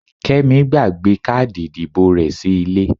Kẹ́mi gbàgbé káàdì ìdìbò rẹ sí ilé.